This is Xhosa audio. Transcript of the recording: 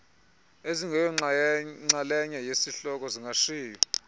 ezingeyonxalenye yesihloko zingashiywa